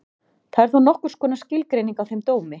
Það er þá nokkurs konar skilgreining á þeim dómi.